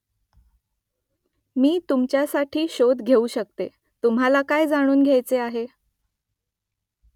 मी तुमच्यासाठी शोध घेऊ शकते . तुम्हाला काय जाणून घ्यायचं आहे ?